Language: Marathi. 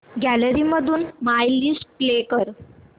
गॅलरी मधून माय लिस्ट प्ले कर